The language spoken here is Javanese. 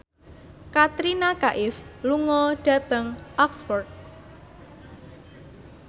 Katrina Kaif lunga dhateng Oxford